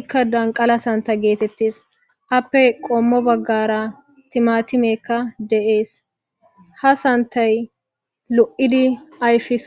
ikka danqala santa geetettes appe qommo baggara timatimekka de7ees ha santay lo7idi ayfis